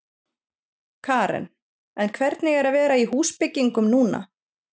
Karen: En hvernig er að vera í húsbyggingum núna?